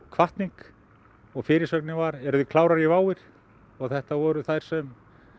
hvatning og fyrirsögnin var eruð þið klárar í WOW ið og þetta voru þær sem